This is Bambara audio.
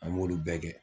An b'olu bɛɛ kɛ